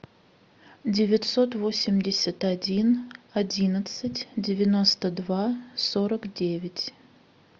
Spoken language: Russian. девятьсот восемьдесят один одиннадцать девяносто два сорок девять